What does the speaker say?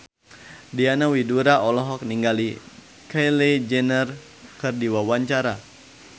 Diana Widoera olohok ningali Kylie Jenner keur diwawancara